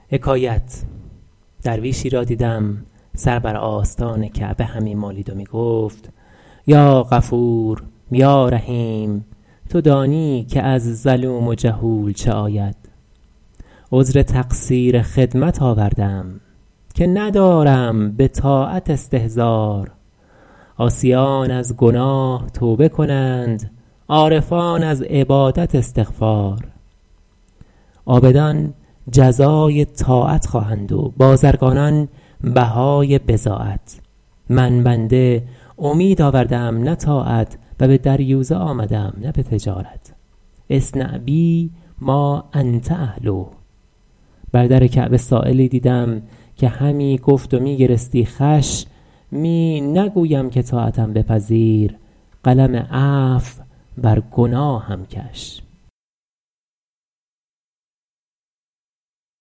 درویشی را دیدم سر بر آستان کعبه همی مالید و می گفت یا غفور یا رحیم تو دانی که از ظلوم جهول چه آید عذر تقصیر خدمت آوردم که ندارم به طاعت استظهار عاصیان از گناه توبه کنند عارفان از عبادت استغفار عابدان جزای طاعت خواهند و بازرگانان بهای بضاعت من بنده امید آورده ام نه طاعت و به دریوزه آمده ام نه به تجارت اصنع بی ما انت اهله بر در کعبه سایلی دیدم که همی گفت و می گرستی خوش می نگویم که طاعتم بپذیر قلم عفو بر گناهم کش